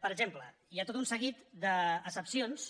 per exemple hi ha tot un seguit d’excepcions